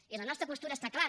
i la nostra postura està clara